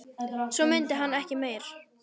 Svo mundi hann ekki meira.